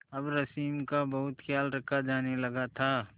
अब रश्मि का बहुत ख्याल रखा जाने लगा था